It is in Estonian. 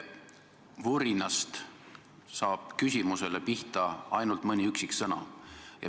Teie vurinast saab küsimusele pihta ainult mõni üksik sõna.